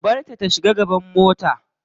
Ka barta ta shiga gaban mota.